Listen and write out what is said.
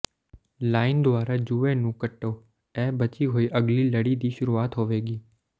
line ਦੁਆਰਾ ਜੂਏ ਨੂੰ ਕੱਟੋ ਇਹ ਬਚੀ ਹੋਈ ਅਗਲੀ ਲੜੀ ਦੀ ਸ਼ੁਰੂਆਤ ਹੋਵੇਗੀ